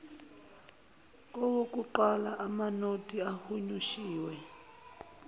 kowokuqala amanothi ahunyushiwe